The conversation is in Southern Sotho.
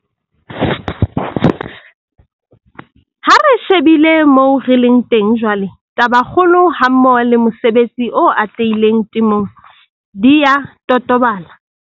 Ha re shebile moo re leng teng jwale, tabakgolo hammoho le mosebetsi o atlehileng temong di a totobala.